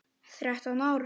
Þrettán ár.